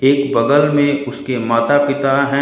एक बगल में उसके माता पिता हैं।